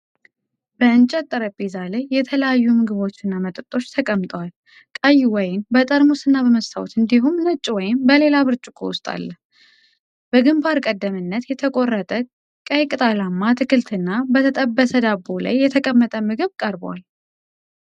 በእንጨት ጠረጴዛ ላይ የተለያዩ ምግቦችና መጠጦች ተቀምጠዋል። ቀይ ወይን በጠርሙስና በመስታወት እንዲሁም ነጭ ወይን በሌላ ብርጭቆ ውስጥ አለ። በግንባር ቀደምትነት የተቆረጠ ቀይ ቅጠላማ አትክልትና በተጠበሰ ዳቦ ላይ የተቀመጠ ምግብ ቀርቧል።